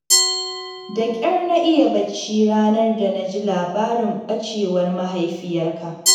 Da ƙyar na iya bacci ranar da na ji labarin ɓacewar mahaifiyarka